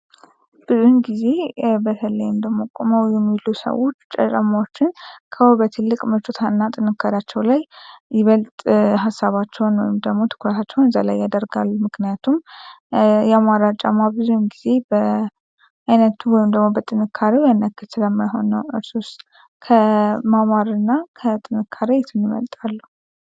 ብዙ ጊዜ በተለይም ደግሞ ቆመው የሚሉ ሰዎች ጫማዎችን ከውበት ይልቅ ምቾትና ጥንካሬያቸው ላይ ይበልጥ ሐሳባቸውን ወይም ደግሞ ትኩረታቸው እዛ ላይ ያደርጋሉ። ምክንያቱም ያማረ ጫማ ብዙውን ጊዜ በ አይነቱ ወይም ደግሞ በጥንካሬው ያኛክል ስለማይሆን ነው። እርሶስ ከማማርና ከጥንካሬ የቱን ይመርጣሉ?